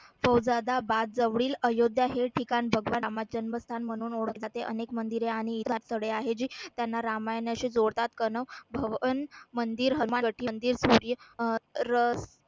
फौजादाबाद जवळील अयोध्या हे ठिकाण भगवान रामाचे जन्मस्थान म्हणून ओळखले जाते. अनेक मंदिरे आणि निवासस्थळे आहे जी त्यांना रामायणाशी जोडतात भवन मंदिर